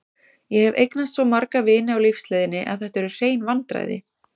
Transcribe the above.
Ég hef eignast svo marga vini á lífsleiðinni að þetta eru hrein vandræði.